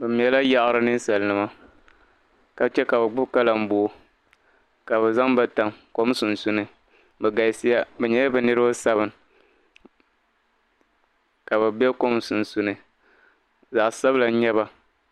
Bɛ mɛla yaɣiri ninsalinima ka che ka bɛ gbibi kalamboo ka bɛ zaŋ ba tam kom sunsuuni. Bɛ galisiya bɛ nyɛla bɛ niriba sabin ka bɛ kom sunsuuni zaɣ' sabila.